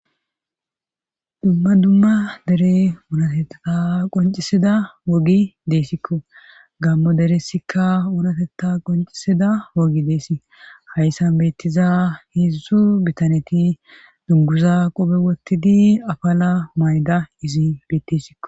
dumma dumma dere wunatetta qoncisida wogi deessikko gammo deresikka uunatetta qoncisida wogi deessi hayssan bettiza heedzusu bitaneti dunguza qobe wottidi apaala mayda izi bettesikko